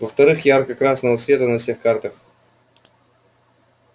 во-вторых ярко-красного цвета на всех картах